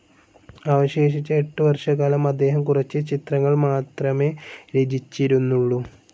അവശേഷിച്ച എട്ടു വർഷക്കാലം അദ്ദേഹം കുറച്ച് ചിത്രങ്ങൾ മാത്രമേ രചിച്ചിരുന്നുള്ളൂ.